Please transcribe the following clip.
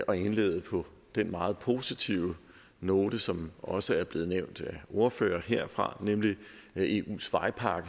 at indlede på den meget positive note som også er blevet nævnt af ordførere heroppe fra nemlig at eus vejpakke